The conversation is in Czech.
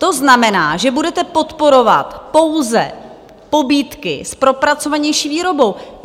To znamená, že budete podporovat pouze pobídky s propracovanější výrobou.